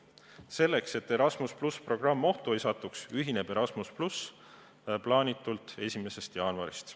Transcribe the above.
Selleks et Erasmus+ programm ohtu ei satuks, ühineb Erasmus+ plaanitult 1. jaanuarist.